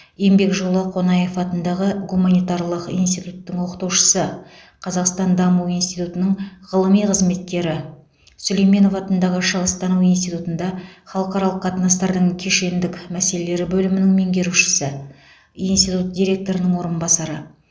еңбек жолы қонаев атындағы гуманитарлық институттың оқытушысы қазақстан даму институтының ғылыми қызметкері сүлейменов атындағы шығыстану институтында халықаралық қатынастардың кешендік мәселелері бөлімінің меңгерушісі институт директорының орынбасары